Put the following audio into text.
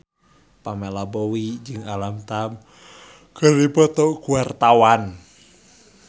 Pamela Bowie jeung Alam Tam keur dipoto ku wartawan